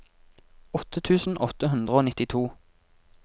åtte tusen åtte hundre og nittito